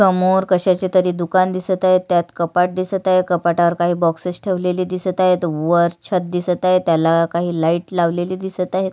समोर कशाचे तरी दुकान दिसत आहे त्यात कपाट दिसत आहे कपाटावर काही बॉक्सेस ठेवलेले दिसत आहेत वर छत दिसत आहे त्याला काही लाइट लावलेले दिसत आहेत.